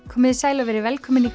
komiði sæl og verið velkomin í